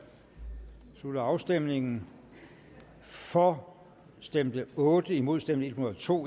slutter afstemningen for stemte otte imod stemte en hundrede og to